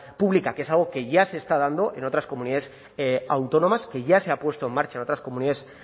pública que es algo que ya se está dando en otras comunidades autónomas que ya se ha puesto en marcha en otras comunidades